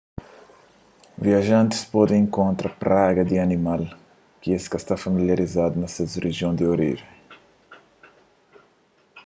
viajantis pode inkontra praga di animal ki es ka sta familializadu na ses rijion di orijen